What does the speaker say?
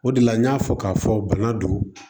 O de la n y'a fɔ k'a fɔ bana don